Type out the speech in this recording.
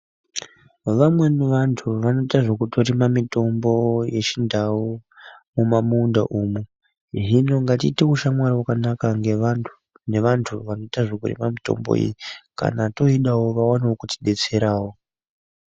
Vamweni vantu vanotoita zvekutorima mitombo yechindau mumamunda umu. Hino ngetiite ushamwari hwakanaka nevantu vanoita zvekurima mutombo iyi kana toidawo vaonewo kutidetserawo.